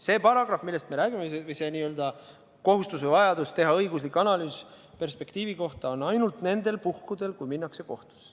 See paragrahv, millest me räägime, see n-ö kohustus või vajadus teha õiguslik analüüs perspektiivi kohta on ainult nendel puhkudel, kui minnakse kohtusse.